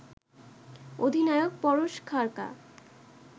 অধিনায়ক পরশ খাড়কা